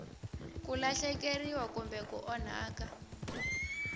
ku lahlekeriwa kumbe ku onhaka